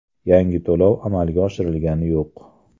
Yangi to‘lov amalga oshirilgani yo‘q.